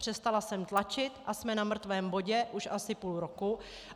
Přestala jsem tlačit a jsme na mrtvém bodě už asi půl roku.